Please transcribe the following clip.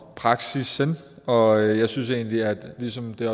praksissen og jeg synes egentlig at det ligesom det